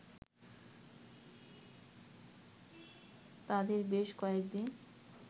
তাদের বেশ কয়েকদিন